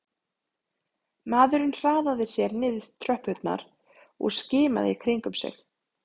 Maðurinn hraðaði sér niður tröppurnar og skimaði í kringum sig